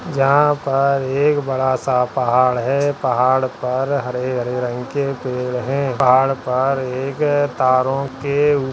जहाँ पर एक बड़ा सा पहाड़ है पहाड़ पर हरे हरे रंग के पेड़ हैं पहाड़ पर एक तारों के ऊपर--